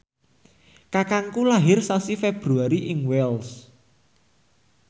kakangku lair sasi Februari ing Wells